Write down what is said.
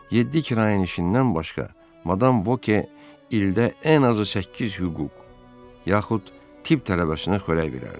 Yeddi kirayəşindən başqa Madam Voke ildə ən azı səkkiz hüquq, yaxud tibb tələbəsinə xörək verərdi.